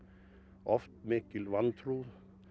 oft mikil vantrú